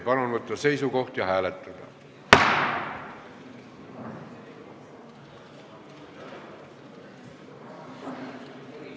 Palun võtta seisukoht ja hääletada!